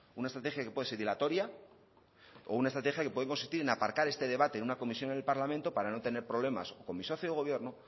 una estrategia que puede ser dilatoria o una estrategia que puede consistir en aparcar este debate en una comisión en el parlamento para no tener problemas con mi socio de gobierno